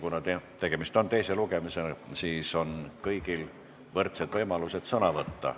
Kuna tegemist on teise lugemisega, siis on kõigil võrdsed võimalused sõna võtta.